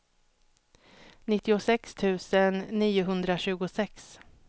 nittiosex tusen niohundratjugosex